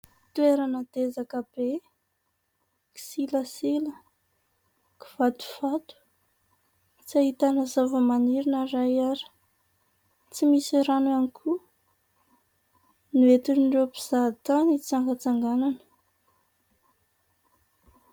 Toerana dezaka be, kisilasila, kivatovato, tsy ahitana zavamaniry na iray ary. Tsy misy rano ihany koa no entin'ireo mpizaha tany hitsangatsanganana.